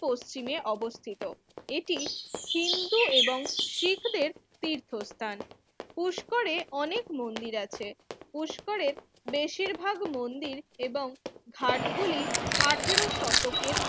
পশ্চিমে অবস্থিত এটি হিন্দু এবং শিখ দের তীর্থস্থান পুষ্করে অনেক মন্দির আছে পুষ্করে বেশিরভাগ মন্দির এবং ঘাট গুলি আঠারো শতকের